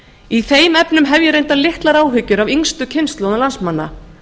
í þeim efnum hef ég reyndar litlar áhyggjur af yngstu kynslóðum landsmanna